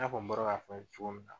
I n'a fɔ n bɔra k'a fɔ cogo min na